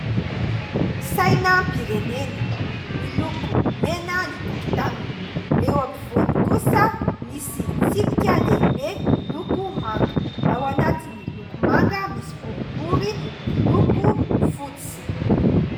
Sainam-pirenena, miloko mena ny tokotaniny. Eo ampovoany kosa misy tsipika lehibe miloko manga. Ao anatin'ny loko manga misy boribory miloko fotsy.